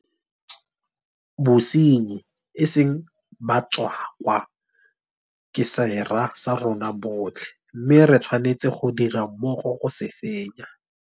Bosenyi, e seng batswakwa, ke sera sa rona botlhe mme re tshwanetse go dira mmogo go se fenya.